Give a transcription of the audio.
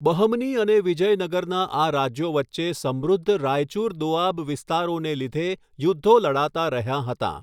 બહમની અને વિજયનગરના આ રાજ્યો વચ્ચે સમૃદ્ધ રાયચુર દોઆબ વિસ્તારોને લીધે યુધ્ધો લડાતાં રહ્યાં હતાં.